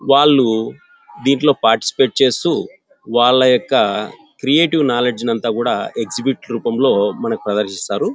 వాళ్ళు దింట్లో పార్టిసిపేట్ చేస్తూ వాళ్ళ యొక్క క్రియేటివ్ నాలెడ్జి ని అంతాకూడా ఎగ్జిక్యూట్ రూపంలో మనకు ప్రదర్శిస్తారు.